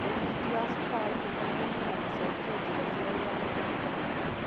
ũrigiti wa cukari ũkonainie na gũcenjia njĩra cia ũrĩa mũndũ aikaraga